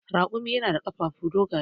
Raƙumi na da ƙafafuwa dogaye.